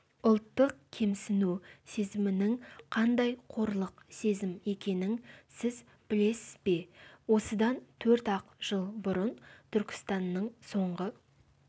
ұлттық кемсіну сезімінің қандай қорлық сезім екенін сіз білесіз бе осыдан төрт-ақ жыл бұрын түркістанның соңғы